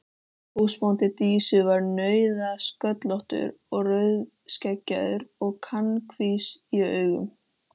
Húsbóndi Dísu var nauðasköllóttur og rauðskeggjaður og kankvís í augum.